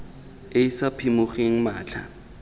e e sa phimogeng matlha